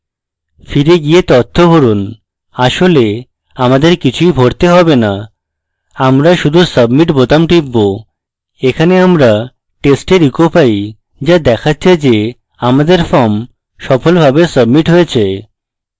ফিরে গিয়ে থ্য ভরুন আসলে আমাদের কিছুই ভরতে হবে না আমরা শুধু submit বোতাম টিপব এখানে আমরা test এর echo পাই যা দেখাচ্ছে যে আমাদের form সফলভাবে submit হয়েছে